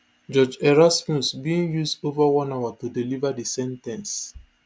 judge erasmus bin use ova one hour to deliver di sen ten ce